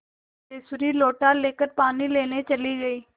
सिद्धेश्वरी लोटा लेकर पानी लेने चली गई